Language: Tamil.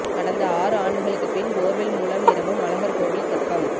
கடந்த ஆறு ஆண்டுகளுக்கு பின் போர்வெல் மூலம் நிரம்பும் அழகர்கோவில் தெப்பம்